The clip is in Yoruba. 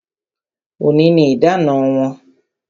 Òní ni idana wọn